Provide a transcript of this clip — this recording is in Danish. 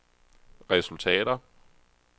resultater